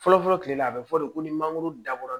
Fɔlɔfɔlɔ kile la a be fɔ de ko ni mangoro dabɔra